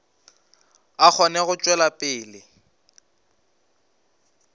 a kgone go tšwela pele